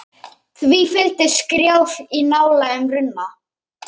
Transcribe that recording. Því fylgdi skrjáf í ná lægum runna.